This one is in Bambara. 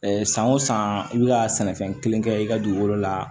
san o san i bɛ ka sɛnɛfɛn kelen kɛ i ka dugukolo la